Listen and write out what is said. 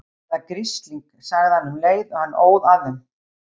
Hvaða grisling. sagði hann um leið og hann óð að þeim.